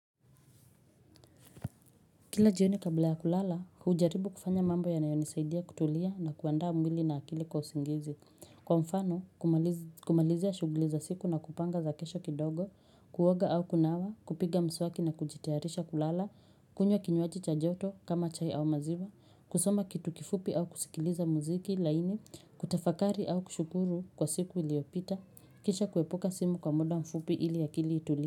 Kila jioni kabla ya kulala, hujaribu kufanya mambo yanayo nisaidia kutulia na kuandaa mwili na akili kwa usingizi. Kwa mfano, kumalizia shughuli za siku na kupanga za kesho kidogo, kuoga au kunawa, kupiga mswaki na kujitayarisha kulala, kunywa kinywaji cha joto kama chai au maziwa, kusoma kitu kifupi au kusikiliza muziki, laini kutafakari au kushukuru kwa siku iliyopita, kisha kuepuka simu kwa muda mfupi ili akili itulie.